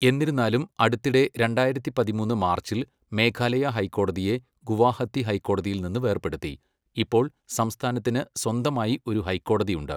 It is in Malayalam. എന്നിരുന്നാലും അടുത്തിടെ രണ്ടായിരത്തി പതിമൂന്ന് മാർച്ചിൽ മേഘാലയ ഹൈക്കോടതിയെ ഗുവാഹത്തി ഹൈക്കോടതിയിൽ നിന്ന് വേർപെടുത്തി, ഇപ്പോൾ സംസ്ഥാനത്തിന് സ്വന്തമായി ഒരു ഹൈക്കോടതിയുണ്ട്.